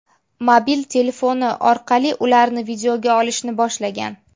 mobil telefoni orqali ularni videoga olishni boshlagan.